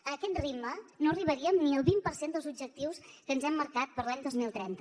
a aquest ritme no arribaríem ni al vint per cent dels objectius que ens hem marcat per a l’any dos mil trenta